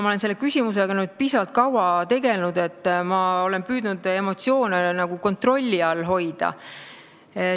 Ma olen selle küsimusega piisavalt kaua tegelnud ja olen püüdnud emotsioone kontrolli all hoida.